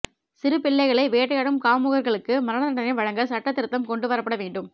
சிறு பிள்ளைகளை வேட்டையாடும் காமுகர்களுக்கு மரண தண்டனை வழங்க சட்ட திருத்தம் கொண்டு வரப்பட வேண்டும்